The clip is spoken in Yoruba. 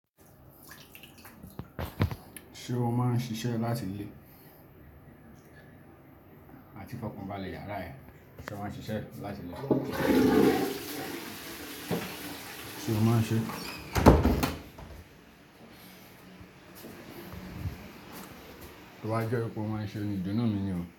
Ṣé o máa ń ṣiṣẹ́ láti ilé? Àti fọ́kàn balẹ̀ yàrá ẹ. Ṣé o máa ń ṣiṣẹ́ láti ilé? Sé o máa ń ṣẹ? Ó wa jẹ́ pé o máa ń ṣe nìjọ́ná mi ni o.